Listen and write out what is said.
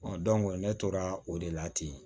ne tora o de la ten